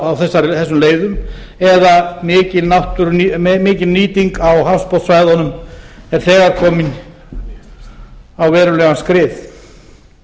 á þessum leiðum eða mikil nýting á hafsbotnssvæðunum er þegar komin á verulegan skrið